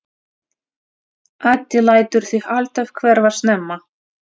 Addi lætur sig alltaf hverfa snemma.